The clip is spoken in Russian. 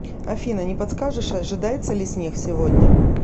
афина не подскажешь ожидается ли снег сегодня